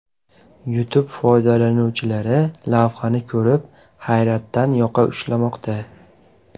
YouTube foydalanuvchilari lavhani ko‘rib, hayratdan yoqa ushlamoqda.